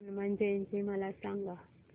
हनुमान जयंती मला सांगा